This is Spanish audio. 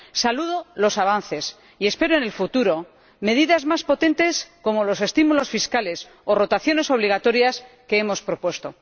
Celebro los avances y espero en el futuro medidas más potentes como los estímulos fiscales o las rotaciones obligatorias, que hemos propuesto.